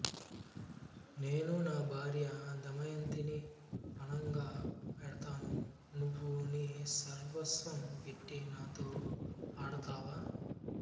నేను నా భార్య దమయంతిని ఫణంగా పెడతాను నీవు నీ సర్వస్వం పెట్టి నాతో ఆడతావా